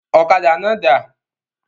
Ọ̀kadà náà dà?